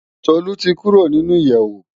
Tolu ti kùró ninú iyèwó